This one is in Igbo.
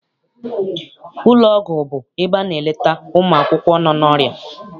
Ụlọ ọgwụ bụ ebe a na-eleta ụmụakwụkwọ nọ n'ọrịa.